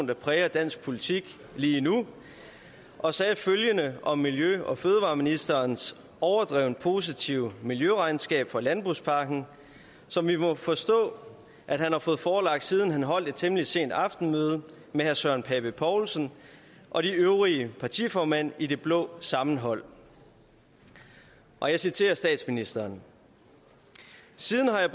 der præger dansk politik lige nu og sagde følgende om miljø og fødevareministerens overdrevent positive miljøregnskab for landbrugspakken som vi må forstå at han har fået forelagt siden han holdt et temmelig sent aftenmøde med herre søren pape poulsen og de øvrige partiformand i det blå sammenhold og jeg citerer statsministeren siden har jeg